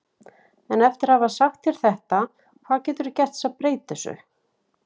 En eftir að hafa sagt þér þetta, hvað geturðu gert til að breyta þessu?